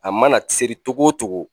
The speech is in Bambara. A mana seri cogo o cogo